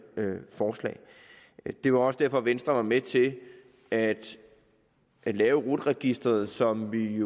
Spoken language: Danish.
forslag det var også derfor venstre var med til at lave rut registeret som vi